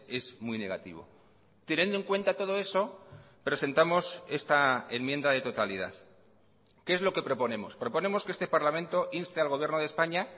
es muy negativo teniendo en cuenta todo eso presentamos esta enmienda de totalidad qué es lo que proponemos proponemos que este parlamento inste al gobierno de españa